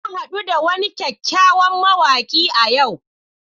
Na hadu da wani kyakkyawan mawaki a yau